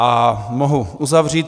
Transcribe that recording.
A mohu uzavřít.